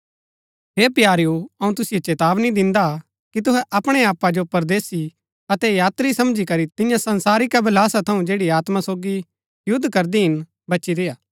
हे प्यारेओ अऊँ तुसिओ चेतावनी दिन्दा कि तुहै अपणै आपा जो परदेसी अतै यात्री समझी करी तियां संसारिक अभिलाषा थऊँ जैड़ी आत्मा सोगी युद्ध करदी हिन बची रेय्आ